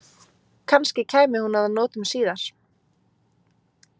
Kannski kæmi hún að notum síðar.